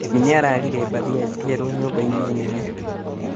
Mami nĩararire mbathia njerũ nyũmba-inĩ nene